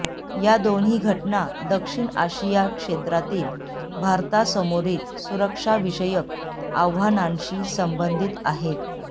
या दोन्ही घटना दक्षिण आशिया क्षेत्रातील भारतासमोरील सुरक्षाविषयक आव्हानांशी संबंधित आहेत